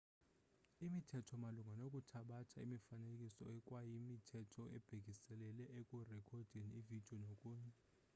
imithetho malunga nokuthabatha imifanekiso ikwayimithetho ebhekiselele ekurekhodeni ividiyo nokunye